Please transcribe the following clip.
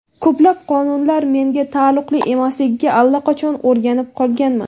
Ko‘plab qonunlar menga taalluqli emasligiga allaqachon o‘rganib qolganman.